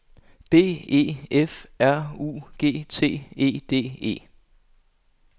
B E F R U G T E D E